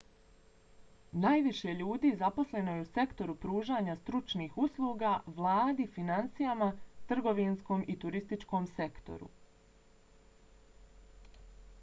najviše ljudi zaposleno je u sektoru pružanja stručnih usluga vladi finansijama trgovinskom i turističkom sektoru